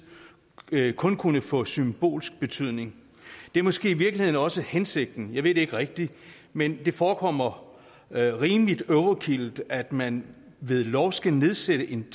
kun kunne få symbolsk betydning det er måske i virkeligheden også hensigten jeg ved det ikke rigtig men det forekommer rimeligt overkill at man ved lov skal nedsætte en